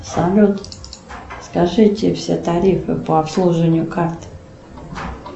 салют скажите все тарифы по обслуживанию карт